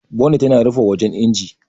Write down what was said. Bonet yana rufe wajan injin.